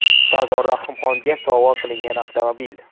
Sardor Rahimxonga sovg‘a qilingan avtomobil.